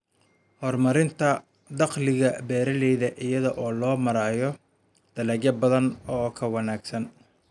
Horumarinta dakhliga beeralayda iyada oo loo marayo dalagyo badan oo ka wanaagsan.